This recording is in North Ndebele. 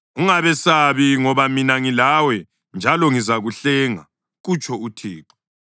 Ungabesabi, ngoba mina ngilawe njalo ngizakuhlenga,” kutsho uThixo.